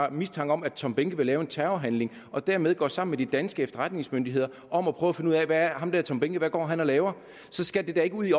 har mistanke om at tom behnke vil lave en terrorhandling og derfor går sammen med de danske efterretningsmyndigheder om at prøve at finde ud af hvad ham der tom behnke går og laver så skal det da ikke ud i